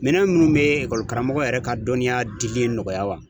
Minɛn minnu bɛ karamɔgɔ yɛrɛ ka dɔnniya dili nɔgɔya wa